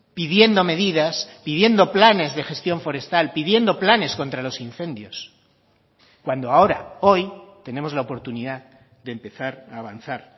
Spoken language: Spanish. pidiendo medidas pidiendo planes de gestión forestal pidiendo planes contra los incendios cuando ahora hoy tenemos la oportunidad de empezar a avanzar